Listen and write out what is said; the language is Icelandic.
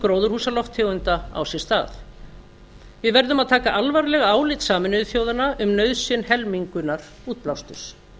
gróðurhúsalofttegunda á sér stað við verðum að taka alvarlega álit sameinuðu þjóðanna um nauðsyn helmingunar útblásturs